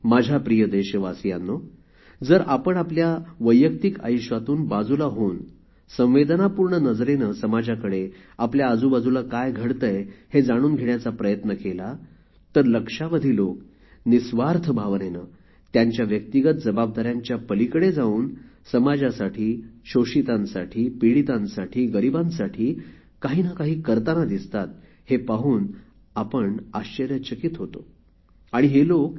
माझ्या प्रिय देशवासियांनो जर आपण आपल्या वैयक्तीक आयुष्यातून बाजूला होऊन संवेदनापूर्ण नजरेने समाजाकडे आपल्या आजूबाजूला काय घडतेय हे जाणून घेण्याचा प्रयत्न केला तर लक्षावधी लोक निस्वार्थ भावनेने त्यांच्या व्यक्तिगत जबाबदाऱ्यांच्या पलिकडे जाऊन समाजासाठी शोषितांसाठी पिडीतांसाठी गरीबांसाठी काहीनाकाही करतांना दिसतात हे पाहून आपण आश्चर्यचकित होतो